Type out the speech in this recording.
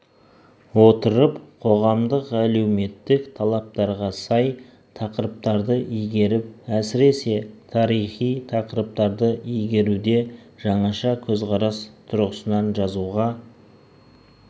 отырып қоғамдық әлеуметтік талаптарға сай тақырыптарды игеріп әсіресе тарихи тақырыптарды игеруде жаңаша көзқарас тұрғысынан жазуға